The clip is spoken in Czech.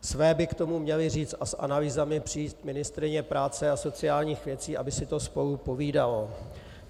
Své by k tomu měla říct a s analýzami přijít ministryně práce a sociálních věcí, aby si to spolu povídalo.